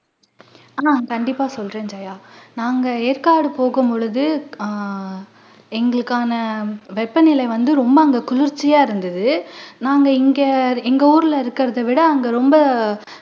அஹ் கண்டிப்பா சொல்றேன் ஜெயா நாங்க ஏற்காடுபோகும் பொழுது எங்களுக்கான வெப்பநிலை வந்து ரொம்ப அங்க குளிர்ச்சியா இருந்துது நாங்க இங்க எங்க ஊருல இருக்குறதை விட அங்க ரொம்ப